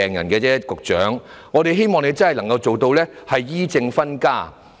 局長，我們期望局方真的能做到"醫、政分家"。